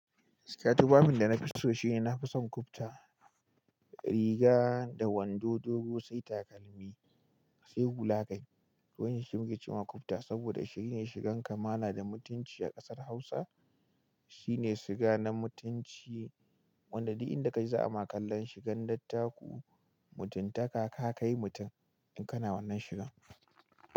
Gaskiya tufafin, danafi so shine nafi son ƙubta, riga da wando dogo sai takalmi sai hula kai. Wannan shi muke cewa ƙubta saboda shine shigan kamala da mutunci a ƙasar Hausa. Shine shiga na mutunci, wanda duk inda ka je za a ma kallon shigan dattaku. Mutunta ka, ka kai mutum in kana wannan shigan.